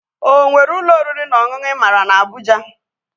O nwere ụlọ oriri na ọṅụṅụ ị maara na Abụja?